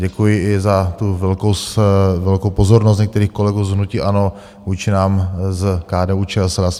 Děkuji i za tu velkou pozornost některých kolegů z hnutí ANO vůči nám z KDU-ČSL.